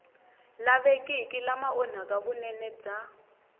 lavekiki lama onhaka vunene bya